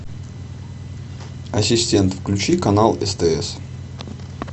ассистент включи канал стс